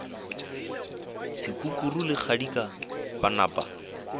sekukuru le kgadika ba napa